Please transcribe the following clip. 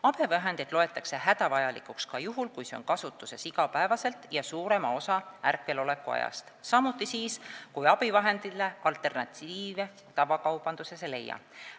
Abivahendit loetakse hädavajalikuks ka juhul, kui see on kasutuses iga päev ja suurema osa ärkveloleku ajast, samuti siis, kui abivahendile tavakaubandusest alternatiive ei leia.